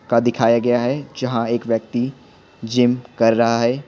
का दिखाया गया है जहां एक व्यक्ति जिम कर रहा है।